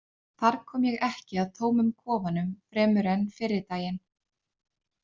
Þar kom ég ekki að tómum kofanum fremur en fyrri daginn.